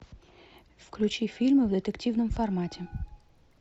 включи фильмы в детективном формате